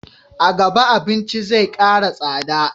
A gaba abinci zai kara tsada